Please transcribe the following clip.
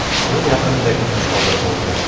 – Bu yaqindagina sodir bo‘ldi.